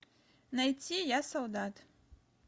найти я солдат